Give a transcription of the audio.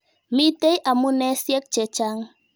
Mitei amunesyek che chang'.